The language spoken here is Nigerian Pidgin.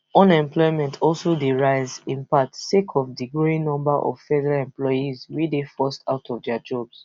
unemployment also dey rise in part sake of di growing number of federal employees wey dey forced out of dia jobs